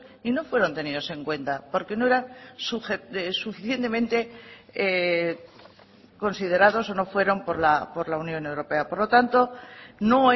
y no fueron tenidos en cuenta porque no era suficientemente considerados o no fueron por la unión europea por lo tanto no